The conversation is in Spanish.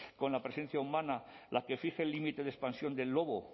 con la presencia humana la que fije el límite de expansión del lobo